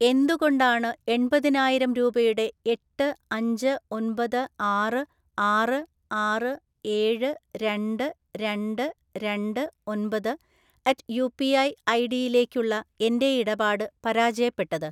എന്തുകൊണ്ടാണ് എൺപതിനായിരം രൂപയുടെ എട്ട് അഞ്ച് ഒമ്പത് ആറ് ആറ് ആറ് ഏഴ് രണ്ട് രണ്ട് രണ്ട് ഒമ്പത് അറ്റ്‌ യു പി ഐ ഐഡിയിലേക്കുള്ള എൻ്റെ ഇടപാട് പരാജയപ്പെട്ടത്?